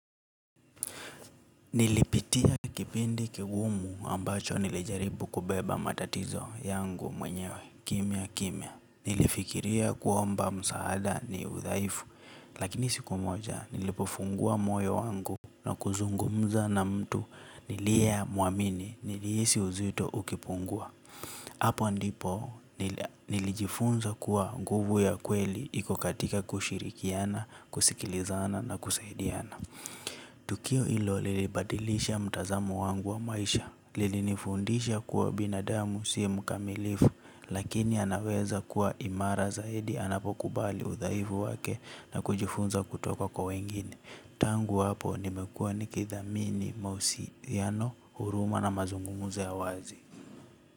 Nilipitia kipindi kigumu ambacho nilijaribu kubeba matatizo yangu mwenyewe kimya kimya. Nilifikiria kuomba msaada ni udhaifu, lakini siku moja nilipofungua moyo wangu na kuzungumza na mtu niliyea muamini niliisi uzito ukipungua. Hapo ndipo nilijifunza kuwa nguvu ya kweli iko katika kushirikiana, kusikilizana na kusaidiana. Tukio ilo li li badilisha mtazamo wangu wa maisha, li li nifundisha kuwa binadamu si mkamilifu, lakini anaweza kuwa imara zaidi, anapokubali udhaivu wake na kujifunza kutoka kwa wengine. Tangu apo nimekua nikithamini mausiyano, huruma na mazungumuzo ya wazi.